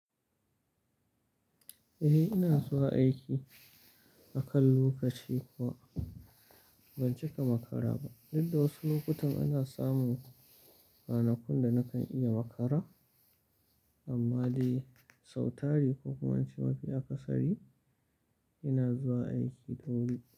Eh ina zuwa aiki akan lokaci kuwa ban cika makara ba, inda wasu lokutan ana samun ranakun da nakan iya makara amma dai sau tari ko kuma an ci mafi akasari ina zuwa aiki da wuri.